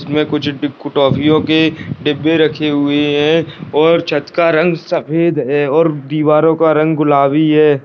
इसमें कुछ डी टोफ़ियों के डिब्बे रखे हुए हैं और छत का रंग सफेद है और दीवारों का रंग गुलाबी है।